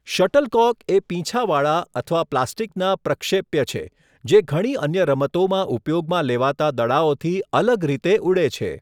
Shuttlecock એ પીંછાવાળા અથવા પ્લાસ્ટિકના પ્રક્ષેપ્ય છે જે ઘણી અન્ય રમતોમાં ઉપયોગમાં લેવાતા દડાઓથી અલગ રીતે ઉડે છે.